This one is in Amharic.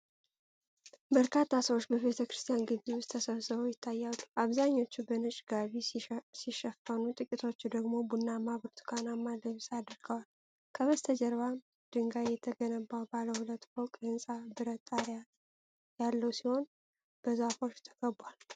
በርካታ ሰዎች በቤተክርስቲያን ግቢ ውስጥ ተሰብስበው ይታያሉ። አብዛኞቹ በነጭ ጋቢ ሲሸፈኑ፣ ጥቂቶች ደግሞ ቡናማና ብርቱካናማ ልብስ አድርገዋል። ከበስተጀርባ ድንጋይ የተገነባ ባለ ሁለት ፎቅ ህንፃ ብረት ጣሪያ ያለው ሲሆን፣ በዛፎች ተከቧል።